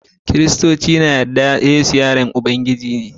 kiristoci na da yarda cewa yesu yaron Ubangiji ne